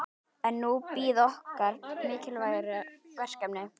En núna bíða okkar mikilvægari verkefni.